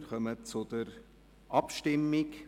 Wir kommen zur Abstimmung.